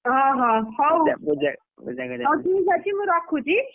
ଓହୋ ହଉ ହଉ ଠିକ୍ଅଛି, ମୁଁ ରଖୁଛି।